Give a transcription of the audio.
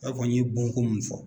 I b'a fɔ n ye bon ko min fɔ